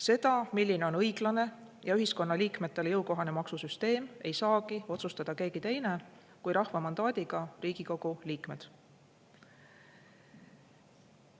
Seda, milline on õiglane ja ühiskonnaliikmetele jõukohane maksusüsteem, ei saagi otsustada keegi teine kui rahva mandaadiga Riigikogu liikmed.